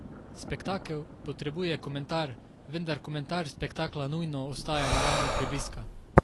Spektakel potrebuje komentar, vendar komentar spektakla nujno ostaja na ravni prebliska.